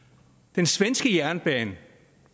den svenske jernbane